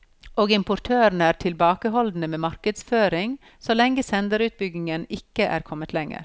Og importørene er tilbakeholdne med markedsføring så lenge senderutbyggingen ikke er kommet lenger.